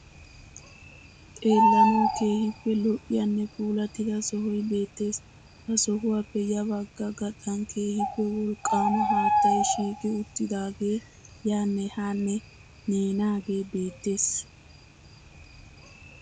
Xeelanaw keehippe lo''iyanne puulattida sohoy beettees. Ha sohuwappe ya bagga gaxan keehippe wolqqaama haattay shiiqi uttidaage yanne haanne neenaage beettees.